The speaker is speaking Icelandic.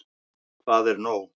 Hvað er nóg?